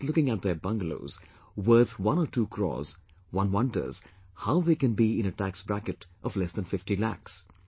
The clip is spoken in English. Just looking at their bungalows worth 1 or 2 crores, one wonders how they can be in a tax bracket of less than 50 lakhs